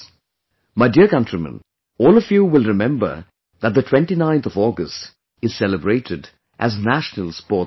My dear countrymen, all of you will remember that the 29th of August is celebrated as 'National Sports Day'